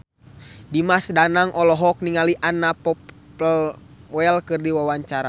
Dimas Danang olohok ningali Anna Popplewell keur diwawancara